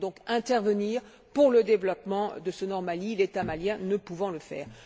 Il faut donc intervenir pour le développement de ce nord du Mali, l'État malien ne pouvant le faire.